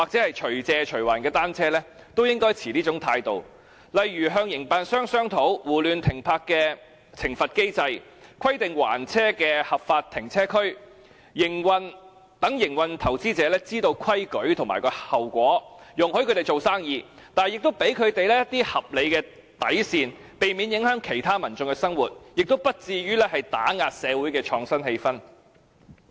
例如，當局應與營辦商商討，訂立胡亂停泊的懲罰機制，規定還車的合法停車區，讓營辦者知道規矩和後果，容許他們做生意，但亦給他們一些合理的底線，避免影響其他民眾的生活，亦不至於打壓社會的創新氣氛。